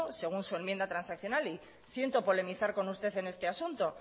según su enmienda transaccional y siento polemizar con usted en este asunto